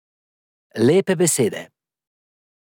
Lepe besede.